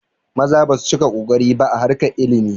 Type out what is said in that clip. Maza basu cika kokari ba a harkar ilimi